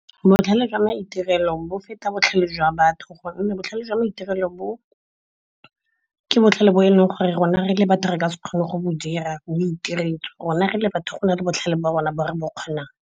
Botlhale jwa maitirelo bo feta botlhale jwa batho gonne botlhale jwa maitirelo ke botlhale bo e leng gore rona re le batho re ka se kgone go bo dira, bo itiretswe. Rona re le batho go na le botlhale jwa rona bo re bo kgonang.